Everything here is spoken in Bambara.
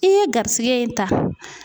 I ye garisigɛ in ta.